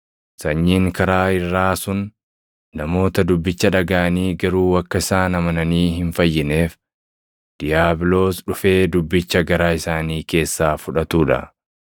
Sanyiin karaa irraa sun namoota dubbicha dhagaʼanii garuu akka isaan amananii hin fayyineef diiyaabiloos dhufee dubbicha garaa isaanii keessaa fudhatuu dha.